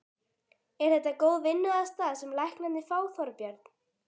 Er þetta góð vinnuaðstaða sem læknarnir fá, Þorbjörn?